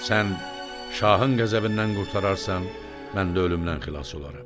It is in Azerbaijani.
Sən şahın qəzəbindən qurtararsan, mən də ölümdən xilas olaram.